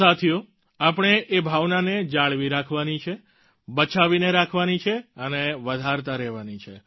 સાથીઓ આપણે એ ભાવનાને જાળવી રાખવાની છે બચાવીને રાખવાની છે અને વધારતા રહેવાની છે